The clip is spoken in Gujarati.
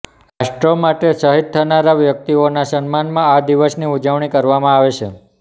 રાષ્ટ્ર માટે શહીદ થનારા વ્યક્તિઓના સન્માનમાં આ દિવસની ઉજવણી કરવામાં આવે છે